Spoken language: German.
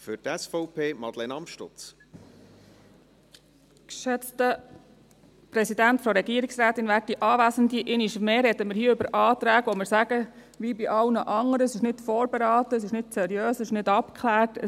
Einmal mehr sprechen wir hier über Anträge, bei welchen wir sagen – wie bei allen anderen –, dass diese nicht vorberaten, nicht seriös, nicht abgeklärt wurden.